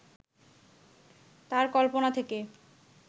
তার কল্পনা থেকে